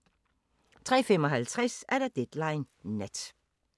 03:55: Deadline Nat